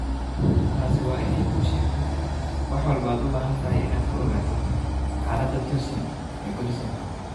Taasi waa inay kuu sheegto wax walba oo aad u baahan tahay inaad ka ogaato xaalada Tosun ee Goodison Park.